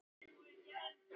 Láttu ekki svona, kona.